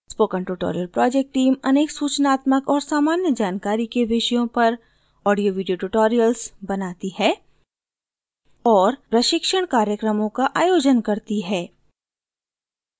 spoken tutorial project team अनेक सूचनात्मक और सामान्य जानकारी के विषयों पर ऑडियोवीडियो ट्यूटोरियल्स बनाती है और प्रशिक्षण कार्यक्रमों का आयोजन करती है